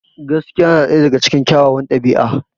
Gaskiya na ɗaya daga cikin kyawawan ɗabi'a.